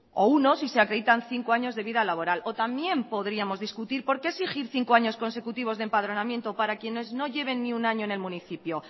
o uno si se acreditan cinco años de vida laboral o también podríamos discutir por qué exigir cinco años consecutivos de empadronamiento para quienes no lleven ni un año en el municipio